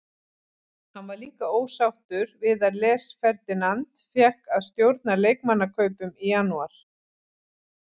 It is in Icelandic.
Hann var líka ósáttur við að Les Ferdinand fékk að stjórna leikmannakaupum í janúar.